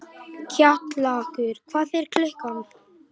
Kjallakur, hvað er klukkan?